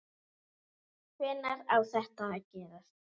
Hvenær á þetta að gerast?